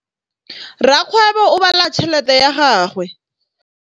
Rakgwêbô o bala tšheletê ya gagwe.